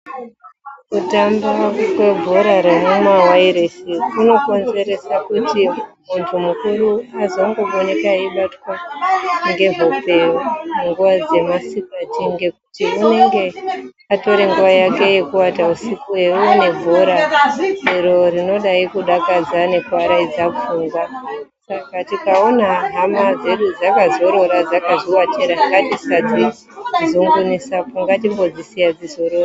Kutambwa kwebhora remumawairesi kunokonzeresa kuti muntu mukuru azongovoneka eibatwa ngehope nguva dzemasikati ngekuti unenge otore nguva yake yekuata usiku eione bhora iro rinodai kudakadza nekuaraidza pfungwa. Saka tikaona hama dzedu dzakazorora dzakazviwatira ngatisadzi zungunusapo ngatimbodzisiya dzizorore.